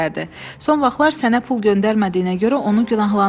Son vaxtlar sənə pul göndərmədiyinə görə onu günahlandırma.